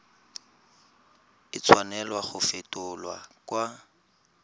a tshwanela go fetolwa kwa